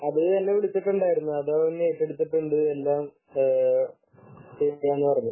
ആഹ് അതെന്നെ വിളിച്ചിട്ടുണ്ടായിരുന്നു അത് അവർ ഏറ്റെടുത്തിട്ടുണ്ട് എല്ലാം ശരിയാക്കാം എന്ന് പറഞ്ഞു